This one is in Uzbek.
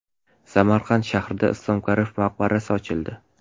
Samarqand shahrida Islom Karimov maqbarasi ochildi .